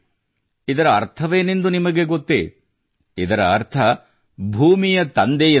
ಇದರ ಅರ್ಥವೇನೆಂದು ನಿಮಗೆ ಗೊತ್ತೇಇದರ ಅರ್ಥ ಭೂಮಿತ ತಂದೆ ಎಂದು